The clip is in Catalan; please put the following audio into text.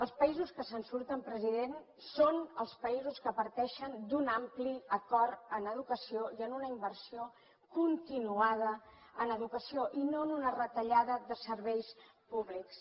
els països que se’n surten president són els països que parteixen d’un ampli acord en educació i amb una inversió continuada en educació i no amb una retallada de serveis públics